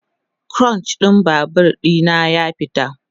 Kluchin Babur ɗina ya fita